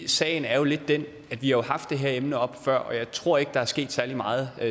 sagen er jo lidt den at vi har haft det her emne oppe før og jeg tror ikke der er sket særlig meget